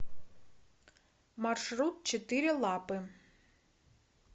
маршрут четыре лапы